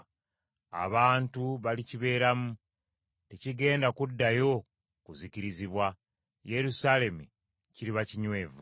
Abantu balikibeeramu, tekigenda kuddayo kuzikirizibwa. Yerusaalemi kiriba kinywevu.